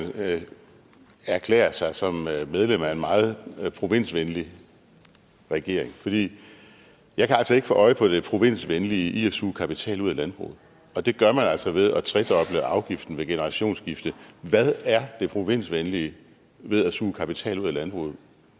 erklærer sig som medlem af en meget provinsvenlig regering jeg kan altså ikke få øje på det provinsvenlige i at suge kapital ud af landbruget og det gør man altså ved at tredoble afgiften ved generationsskifte hvad er det provinsvenlige ved at suge kapital ud af landbruget